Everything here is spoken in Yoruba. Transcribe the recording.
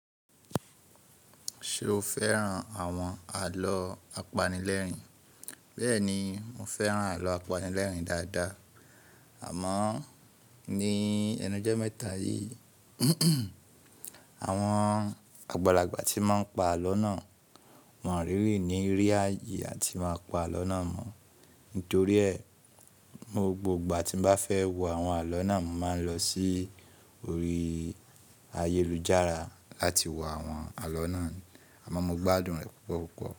Ṣé o fẹ́ran àwọn àlọ́ apanilẹ́rìn? Bẹ́ẹ̀ni, mo fẹ́ran àlọ́ apanilẹ́rìn dáadáa. Àmọ́ ní ẹnu jọmẹ́ta yìí, àwọn àgbàlagbà tí máa ń pa àlọ́ náà wọ́n really ní rí áye, a ti máa pa àlọ́ náà mọ́. Nítorí ẹ̀, mo gbogbo ìgbà tí mo bá fẹ́ wo àwọn àlọ́ náà, màá lọ sí orí ayélujára láti wo àwọn àlọ́ náà. Àmọ́ mo gbádùn rẹ̀ púpọ̀ púpọ̀